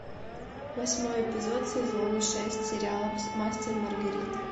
восьмой эпизод сезона шесть сериала мастер и маргарита